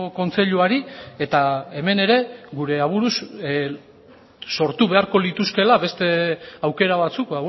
kontseiluari eta hemen ere gure aburuz sortu beharko lituzkeela beste aukera batzuk